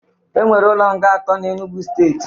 E were ụlo nga atọ na Enụgwụ steetị